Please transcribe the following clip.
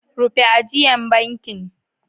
Rufe ajian bankin.